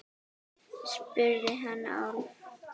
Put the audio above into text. spurði hann Álf.